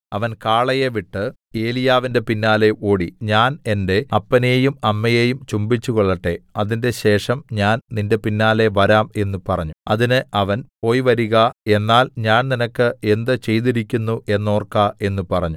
അവൻ കാളയെ വിട്ട് ഏലീയാവിന്റെ പിന്നാലെ ഓടി ഞാൻ എന്റെ അപ്പനെയും അമ്മയെയും ചുംബിച്ചുകൊള്ളട്ടെ അതിന്‍റെശേഷം ഞാൻ നിന്റെ പിന്നാലെ വരാം എന്ന് പറഞ്ഞു അതിന് അവൻ പോയി വരിക എന്നാൽ ഞാൻ നിനക്ക് എന്ത് ചെയ്തിരിക്കുന്നു എന്നോർക്ക എന്ന് പറഞ്ഞു